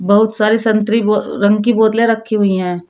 बहुत सारी संतरी ब रंग की बोतलें रखी हुई हैं।